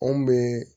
Anw bɛ